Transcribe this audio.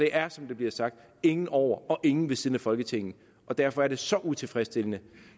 er som det bliver sagt ingen over og ingen ved siden af folketinget og derfor er det så utilfredsstillende